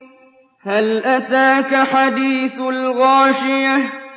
هَلْ أَتَاكَ حَدِيثُ الْغَاشِيَةِ